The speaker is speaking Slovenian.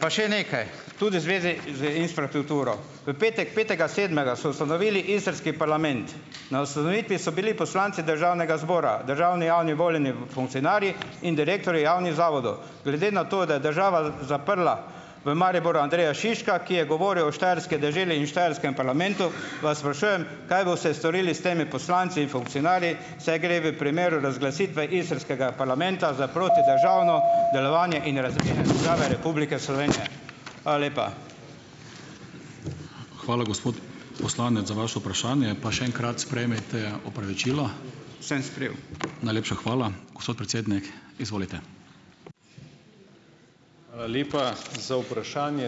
pa še nekaj tudi v zvezi z infrastrukturo. V petek, petega sedmega so ustanovili istrski parlament. Na ustanovitvi so bili poslanci državnega zbora, državni, javni voljeni funkcionarji in direktorji javnih zavodov. Glede na to, da je država zaprla v Mariboru Andreja Šiška, ki je govoril o štajerski deželi in štajerskem parlamentu, vas sprašujem, kaj boste storili s temi poslanci in funkcionarji, saj gre v primeru razglasitve istrskega parlamenta za protidržavno ... Hvala lepa. Hvala, gospod poslanec, za vaše vprašanje pa še enkrat sprejmite opravičilo. Sem sprejel. Najlepša hvala, gospod predsednik, izvolite.